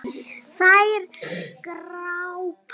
Þær glápa.